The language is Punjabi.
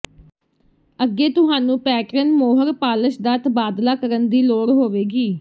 ਅੱਗੇ ਤੁਹਾਨੂੰ ਪੈਟਰਨ ਮੋਹਰ ਪਾਲਸ਼ ਦਾ ਤਬਾਦਲਾ ਕਰਨ ਦੀ ਲੋੜ ਹੋਵੇਗੀ